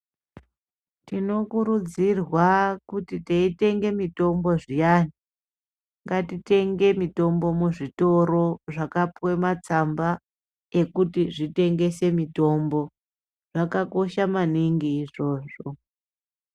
Tino kurudzirwa kuti tei tenge mitombo zviyani ngati tenge mitombo mu zvitoro zvaka puwe matsamba ekuti zvitengese mitombo zvaka kosha maningi izvozvo.